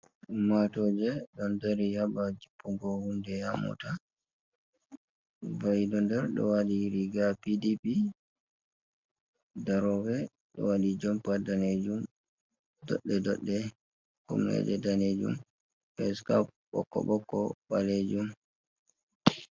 Ummaatooje ɗo dari ha babal jippingo huunde haa moota himɓe do nder ɗo waati riiga P.D.P darooɓe do waati jompa daneejum dodde dodde be daneejum ɓe sarla bokko bokko ebalejum.